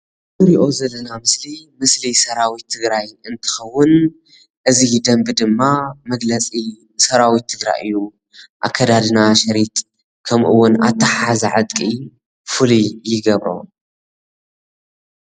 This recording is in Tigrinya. እዚ ንሪኦ ዘለና ኣብዚ ምስሊ ምስሊ ሰራዊት ትግራይ እንትከው እዚ ደንቢ ድማ መግለፂ ሰራዊት ትግራይ እዩ፣ ኣካዳድና ሽርጥ ከምኡ ውን ኣታሓሕዛ ዕጥቂ ፉሉይ ይገብሮ፡፡